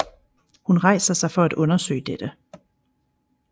Hun rejser sig for at undersøge dette